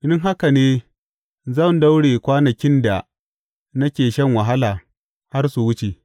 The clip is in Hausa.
In haka ne zan daure kwanakin da nake shan wahala har su wuce.